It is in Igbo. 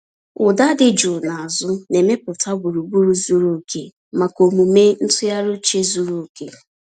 Ụda dị jụụ n’azụ na-emepụta gburugburu zuru oke maka omume ntụgharị uche zuru oke.